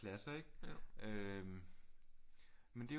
Pladser ikke øh men det er jo